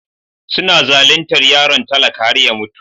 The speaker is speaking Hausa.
Suna zaluntar yaron talaka har ya mutu.